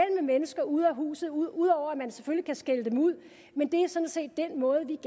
mennesker uden for huset ud ud over at man selvfølgelig kan skælde dem ud men det er sådan set den måde vi